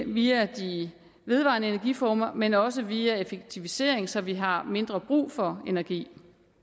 via de vedvarende energiformer men også via effektivisering så vi har mindre brug for energi